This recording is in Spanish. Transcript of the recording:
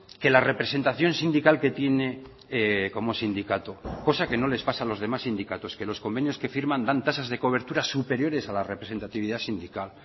que la representación sindical que tiene como sindicato cosa que no les pasa a los demás sindicatos que los convenios que firman dan tasas de coberturas superiores a la representatividad sindical